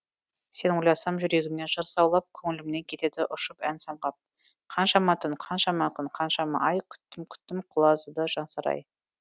сен ойласам жүрегімнен жыр саулап көңілімнен кетеді ұшып ән самғап қаншама түн қаншама күн қаншама ай күттім күттім құлазыды жансарай